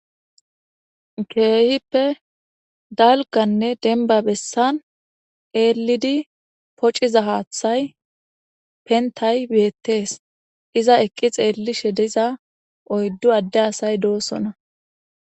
Keehippe dalgganne dembba bessan eellidi pociza haaththay penththay beeththees;iza eqqi xeellishe diza oyddu adde asay doosona.